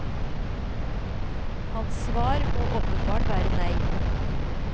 Hans svar må åpenbart være nei.